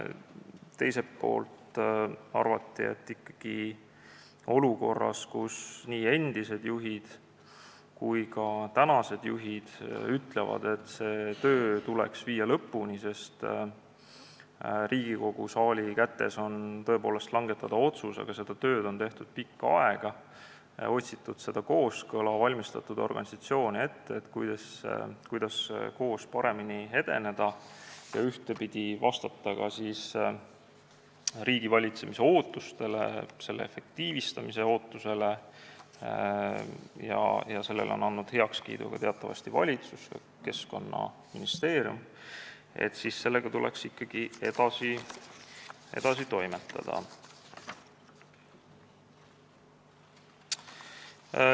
Teiselt poolt arvati, et olukorras, kus nii endised kui ka tänased juhid ütlevad, et see töö tuleks viia lõpule, ning otsus on Riigikogu saali kätes, seda tööd on tehtud pikka aega, on otsitud kooskõla, valmistatud organisatsioone ette, kuidas koos paremini edeneda ja vastata ka riigivalitsemise efektiivistamise ootusele, ja sellele on andnud heakskiidu teatavasti ka valitsus ja Keskkonnaministeerium, tuleks sellega ikkagi edasi toimetada.